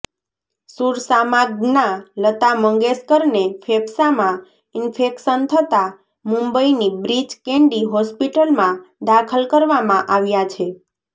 સુર સામ્રાજ્ઞા લતા મંગેશકરેને ફેંફસામાં ઇન્ફેકશન થતા મુંબઇની બ્રીચ કેન્ડી હોસ્પિટલમાં દાખલ કરવામાં આવ્યા છે